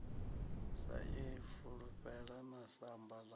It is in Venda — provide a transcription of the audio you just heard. sa ifulufhela na samba ḽa